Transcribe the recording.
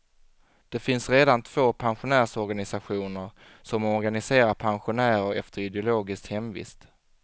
Det finns redan två pensionärsorganisationer, som organiserar pensionärer efter ideologisk hemvist.